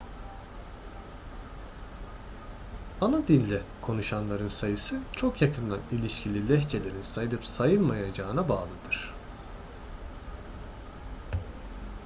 ana dilde konuşanların sayısı çok yakından ilişkili lehçelerin sayılıp sayılmayacağına bağlıdır